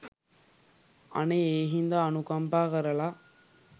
අනේ ඒ හින්දා අනුකම්පා කරලා